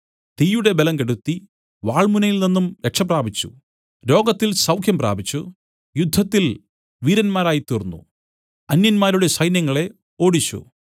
തീയുടെ ബലം കെടുത്തി വാൾമുനയിൽ നിന്നും രക്ഷപ്രാപിച്ചു രോഗത്തിൽ സൗഖ്യം പ്രാപിച്ചു യുദ്ധത്തിൽ വീരന്മാരായ്തീർന്നു അന്യന്മാരുടെ സൈന്യങ്ങളെ ഓടിച്ചു